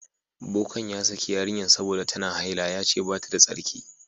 Bokan ya saki yarinyan sabida ta na haila. Ya ce bata da tsarki.